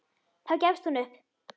Þá gefst hún upp.